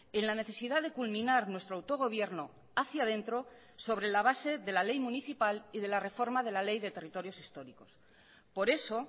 en la necesidad de culminar nuestro autogobierno hacia dentro sobre la base de la ley municipal y de la reforma de la ley de territorios históricos por eso